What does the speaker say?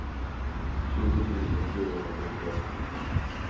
tjugo tusen fyrahundrasjuttioett